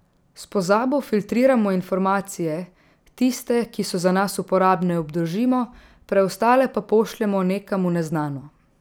S pozabo filtriramo informacije, tiste, ki so za nas uporabne, obdržimo, preostale pa pošljemo nekam v neznano.